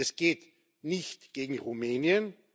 Es geht nicht gegen Rumänien